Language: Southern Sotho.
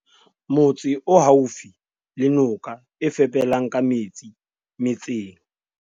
motse o haufi le noka e fepelang ka metsi metseng